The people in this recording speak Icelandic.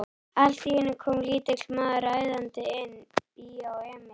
Allt í einu kom lítill maður æðandi inn: Bíó Emil.